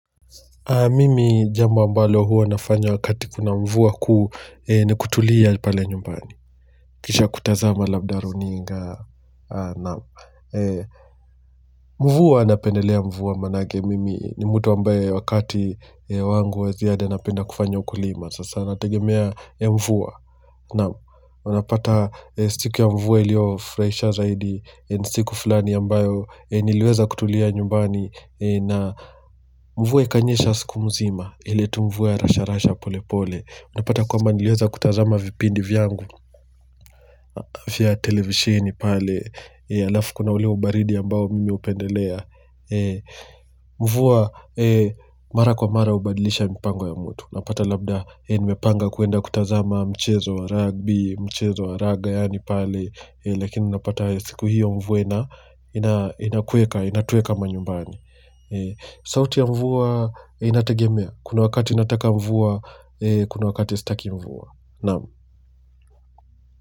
Mimi jambo ambalo huwa nafanya wakati kuna mvua kuu ni kutulia pale nyumbani Kisha kutazama labda runinga Mvua napendelea mvua maanake mimi ni mtu ambaye wakati wangu wa ziada napenda kufanya ukulima. Sasa natagemea mvua naam, unapata siku ya mvua iliyofurahisha zaidi siku fulani ambayo yenye niliweza kutulia nyumbani na mvua ikanyesha siku mzima ile tu mvua ya rasha rasha pole pole. Unapata kwamba niliweza kutazama vipindi vyangu vya televishini pale alafu kuna ule ubaridi ambao mimi hupendelea mvua mara kwa mara hubadilisha mpango ya mtu. Unapata labda nimepanga kuenda kutazama mchezo wa ragbi, mchezo wa raga yaani pale lakini unapata siku hiyo mvu ina inakueka, inatueka manyumbani sauti ya mvua inategemea. Kuna wakati nataka mvua Kuna wakati sitaki mvua. Naam.